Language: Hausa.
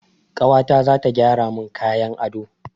Kawata zata gyara mun kayan ado